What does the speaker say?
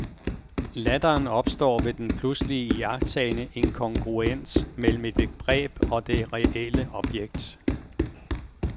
Latteren opstår ved den pludseligt iagttagne inkongruens mellem et begreb og det reelle objekt.